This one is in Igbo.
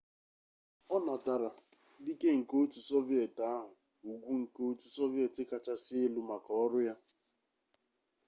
ọ natara dike nke otu soviet ahụ ugwu nke otu soviet kachasị elu maka ọrụ ya